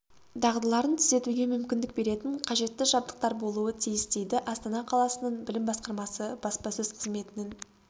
дағдыларын түзетуге мүмкіндік беретін қажетті жабдықтар болуы тиіс дейді астана қаласының білім басқармасы баспасөз қызметінің